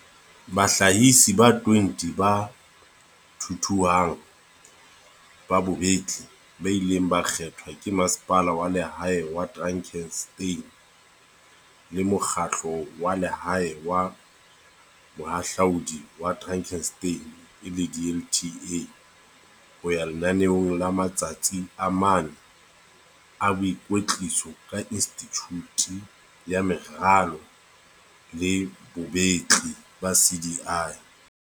bahlahisi ba 20 ba thuthuhang ba bobetli ba ileng ba kgethwa ke Masepala wa Lehae wa Drakenstein le Mokgahlo wa Lehae wa Bohahlaudi wa Drakenstein, DLTA, ho ya lenaneong la matsatsi a mane a boikwetliso ka Institjhute ya Meralo le Bobetli, CDI.